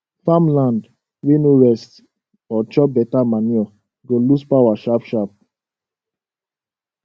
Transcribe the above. farmland wey no rest or chop beta manure go lose power sharp sharp